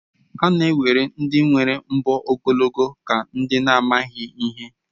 A na-ewere ndị nwere mbọ ogologo aka dị ka ndị na-amaghị ihe